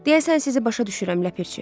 Deyəsən sizi başa düşürəm ləpirçi.